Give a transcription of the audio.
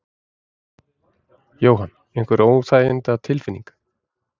Jóhann: Einhver óþægindatilfinning?